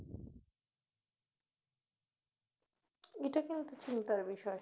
এটা কিন্তু চিন্তার বিষয়